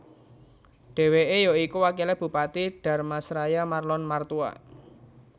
Dheweke ya iku wakile Bupati Dharmasraya Marlon Martua